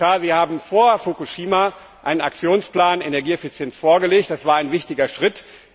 Herr Kommissar, Sie haben vor Fukushima einen Aktionsplan zur Energieeffizienz vorgelegt. Das war ein wichtiger Schritt.